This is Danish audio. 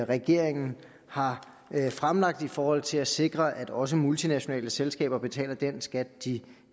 regeringen har fremlagt i forhold til at sikre at også multinationale selskaber betaler den skat de